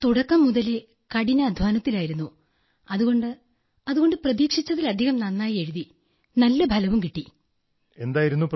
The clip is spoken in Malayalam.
sir we are working hard from the start so I didn't expect this result but I have written well so I get a good result